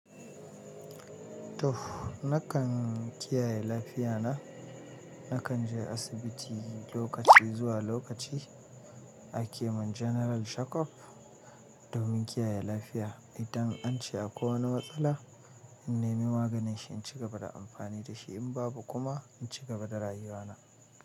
Tuff nakan kiyaye lafiya na, nakan je asibiti lokaci zuwa lokaci a kemun General Shakof domin kiyaye lafiya. Idan an ce akwai wani matsala, in nemi maganin shi in cigaba da amfani da shi, in babu kuma in cigaba da rayuwa na.